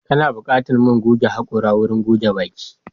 Kana buƙatar man goge haƙora wurin goge baki.